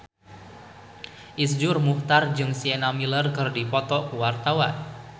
Iszur Muchtar jeung Sienna Miller keur dipoto ku wartawan